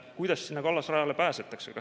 Kuidas sinna kallasrajale pääsetakse?